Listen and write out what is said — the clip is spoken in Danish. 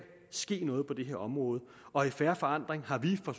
ske noget på det her område og i fair forandring har vi fra